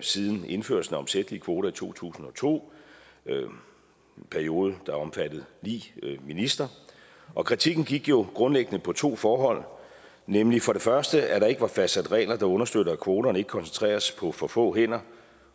siden indførelsen af omsættelige kvoter i to tusind og to en periode der omfattede ni ministre kritikken gik jo grundlæggende på to forhold nemlig for det første at der ikke var fastsat regler der understøttede at kvoterne ikke koncentreredes på for få hænder